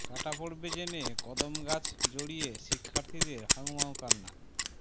কাটা পড়বে জেনে কদম গাছ জড়িয়ে শিক্ষার্থীদের হাউমাউ কান্না